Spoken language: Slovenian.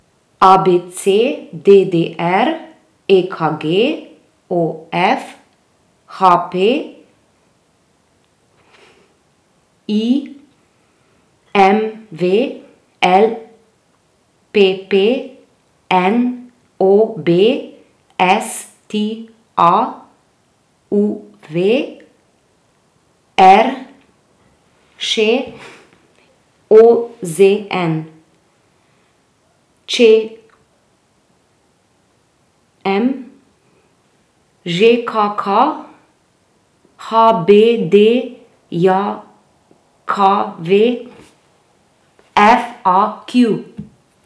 A B C; D D R; E K G; O F; H P; I M V; L P P; N O B; S T A; U V; R Š; O Z N; Č M; Ž K K; H B D J K V; F A Q.